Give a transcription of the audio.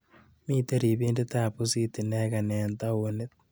Miite ripindetap pusit ineke eng taonit.